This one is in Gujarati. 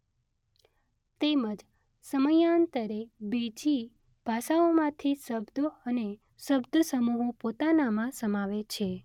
તેમજ સમયાંતરે બીજી ભાષાઓમાંથી શબ્દો અને શબ્દ સમૂહો પોતાનામાં સમાવે છે.